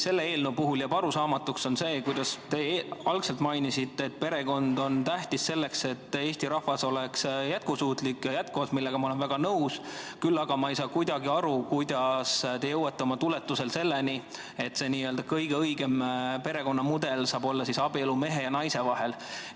Selle eelnõu puhul jääb arusaamatuks see, kuidas te algul mainisite, et perekond on tähtis selleks, et Eesti rahvas oleks jätkusuutlik, millega ma olen väga nõus, siis aga te jõuate selleni, et see kõige õigem perekonnamudel saab olla abielu mehe ja naise vahel.